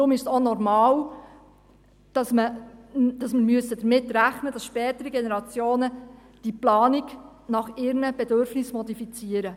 Deshalb ist es auch normal, dass wir damit rechnen müssen, dass spätere Generationen die Planung nach ihren Bedürfnissen modifizieren.